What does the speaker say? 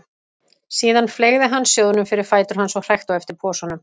Síðan fleygði hann sjóðnum fyrir fætur hans og hrækti á eftir posanum.